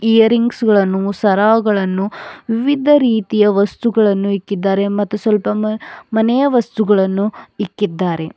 ಈಯರಿಂಗ್ಸ್ಗ ಳನ್ನು ಸರಗಳನ್ನು ವಿವಿಧ ರೀತಿಯ ವಸ್ತುಗಳನ್ನು ಇಕ್ಕಿದ್ದಾರೆ ಮತ್ತು ಸ್ವಲ್ಪ ಮನೆಯ ವಸ್ತುಗಳನ್ನು ಇಕ್ಕಿದ್ದಾರೆ.